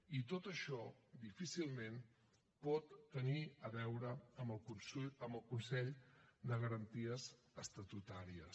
i tot això difícilment pot tenir a veure amb el consell de garanties estatutàries